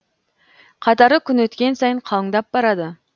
қатары күн өткен сайын қалыңдап барады